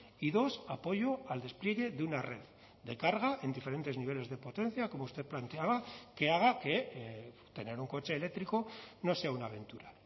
y dos apoyo al despliegue de una red de carga en diferentes niveles de potencia como usted planteaba que haga que tener un coche eléctrico no sea una aventura